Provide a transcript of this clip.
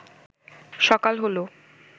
সকাল হল